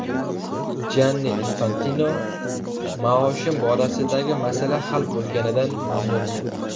Janni Infantino: Maoshim borasidagi masala hal bo‘lganidan mamnunman.